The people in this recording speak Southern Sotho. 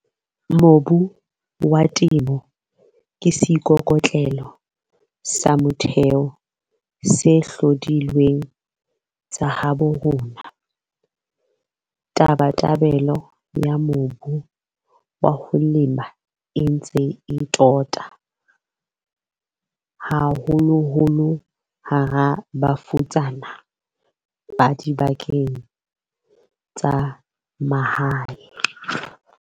Mobu wa Temo ke seikokotlelo sa motheo sa dihlodilweng tsa habo rona. Tabatabelo ya mobu wa ho lema e ntse e tota, haholoholo hara bafutsana ba dibakeng tsa mahae.